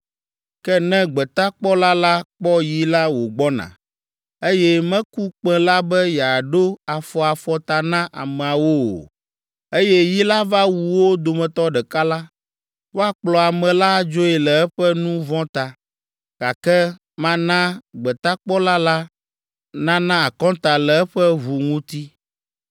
Ke ne gbetakpɔla la kpɔ yi la wògbɔna, eye meku kpẽ la be yeaɖo afɔ afɔta na ameawo o, eye yi la va wu wo dometɔ ɖeka la, woakplɔ ame la adzoe le eƒe nu vɔ̃ ta, gake mana gbetakpɔla la nana akɔnta le eƒe ʋu ŋuti.